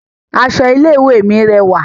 Aṣọ ilé ìwé mi rẹwà